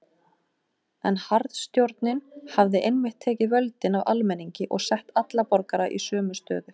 En harðstjórnin hafði einmitt tekið völdin af almenningi og sett alla borgara í sömu stöðu.